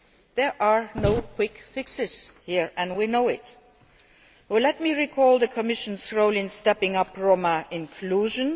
There are no quick fixes here, and we know it. Let me recall the Commission's role in stepping up Roma inclusion.